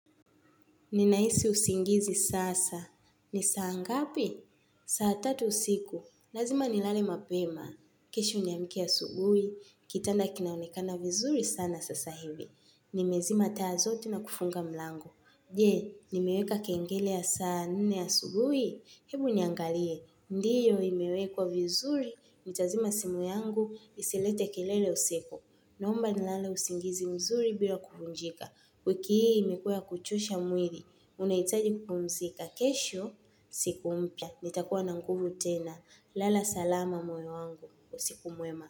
Ninahisi usingizi sasa. Ni saa ngapi? Saa tatu usiku. Lazima nilale mapema. Kesho niamke asubui. Kitanda kinaonekana vizuri sana sasa hivi. Nimezima taa zote na kufunga mlango. Je, nimeweka kengele ya saa nne asubui? Hebu niangalie. Ndiyo imewekwa vizuri. Nitazima simu yangu isilete kelele usiku. Naomba nilale usingizi mzuri bila kufunjika. Wiki hii imekuwa ya kuchosha mwili, unahitaji kupumzika kesho, siku mpya. Nitakuwa na nguvu tena. Lala salama moyo wangu. Usiku mwema.